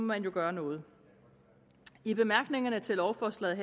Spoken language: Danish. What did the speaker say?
man jo gøre noget i bemærkningerne til lovforslaget